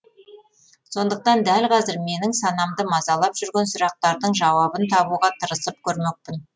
сондықтан дәл қазір менің санамды мазалап жүрген сұрақтардың жауабын табуға тырысып көрмекпін